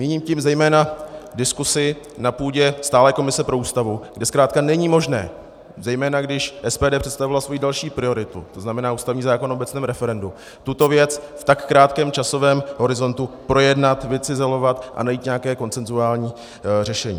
Míním tím zejména diskusi na půdě stálé komise pro Ústavu, kde zkrátka není možné, zejména když SPD představila svoji další prioritu, to znamená ústavní zákon o obecném referendu, tuto věc v tak krátkém časovém horizontu projednat, vycizelovat a najít nějaké konsenzuální řešení.